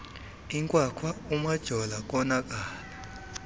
inkwakhwa umajola konakala